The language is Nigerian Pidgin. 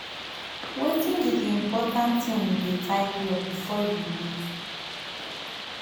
wetin be di most important thing you dey tidy up before you leave?